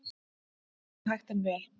Gengið hægt en vel